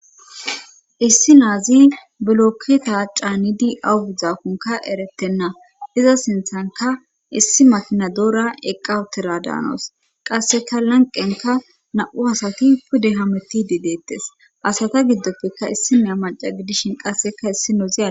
issi naazi biloketa caanidi awugudzakonka eretenna iza sinthanka issi mafinadoora eqqawotera daanos qasseka lanqenka na7u asati pude hametti diideettes asata giddoppeka issi nea maca gidishin qasseka issi nozi ade